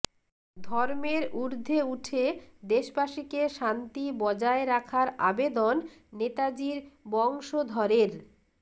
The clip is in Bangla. ধর্মের উর্ধ্বে উঠে দেশবাসীকে শান্তি বজায় রাখার আবেদন নেতাজির বংশধরের